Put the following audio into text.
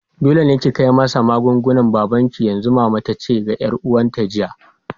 Dole ne ki kai masa magungunan babanki yanzu! mama tace ga yar uwata jiya.